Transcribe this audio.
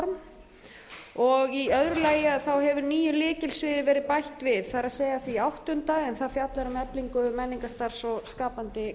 ályktunarform og í öðru lagi hefur nýju lykilsviði verið bætt við það er því áttunda en það fjallar um eflingu menningarstarfs og skapandi